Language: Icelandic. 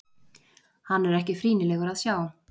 Hann er ekki frýnilegur að sjá.